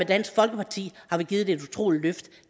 dansk folkeparti har vi givet det et utroligt løft